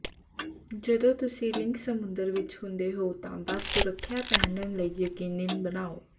ਜਦੋਂ ਤੁਸੀਂ ਲਿੰਗ ਸਮੁੰਦਰ ਵਿਚ ਹੁੰਦੇ ਹੋ ਤਾਂ ਬਸ ਸੁਰੱਖਿਆ ਪਹਿਨਣ ਲਈ ਯਕੀਨੀ ਬਣਾਓ